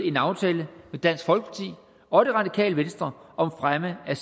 en aftale med dansk folkeparti og det radikale venstre om fremme af